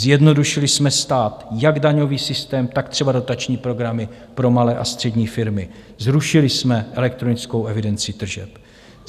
Zjednodušili jsme stát, jak daňový systém, tak třeba dotační programy pro malé a střední firmy, zrušili jsme elektronickou evidenci tržeb.